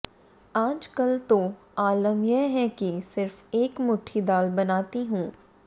आज कल तो आलम यह है कि सिर्फ एक मुठ्ठी दाल बनाती हूं